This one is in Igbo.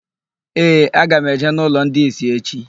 Ee, aga m eje n'ụlọ ndị ìsì echi.